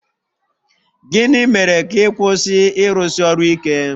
Gịnị mere ka ị kwụsị ịrụsi ọrụ ike?